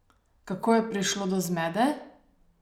Kako je prišlo do zmede?